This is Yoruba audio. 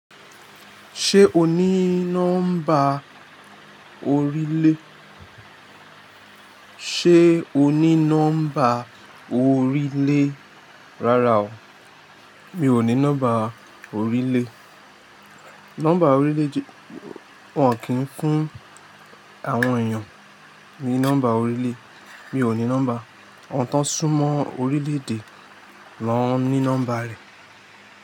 Ṣé o ní nọ́mbà orílè? Ṣé o ní nọ́mbà orílè? Rárá o, mi ò ní nọ́mbà orílè. Nọ́mbà orílè wọ́n kì ń fún àwọn èèyàn ní nọ́mbà orílè. Mi ò ní nọ́mbà, awon tán súmọ́ orílè ede lọ́ ń ní nọ́mbà rẹ̀.